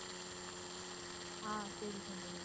ஆஹ் சரி சங்கவி